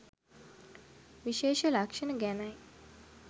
විශේෂ ලක්ෂණ ගැනයි.